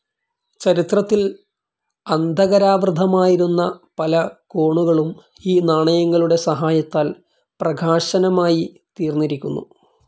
ചരിത്രത്തിൽ അന്ധകാരാവൃതമായിരുന്ന പല കോണുകളും ഈ നാണയങ്ങളുടെ സഹായത്താൽ പ്രകാശമാനമായി തീർന്നിരിക്കുന്നു.